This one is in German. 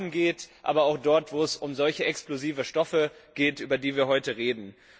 um Waffen geht, aber auch dort, wo es um solche explosive Stoffe geht, über die wir heute reden.